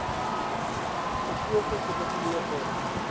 gekose komitee or